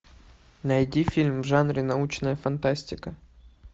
найди фильм в жанре научная фантастика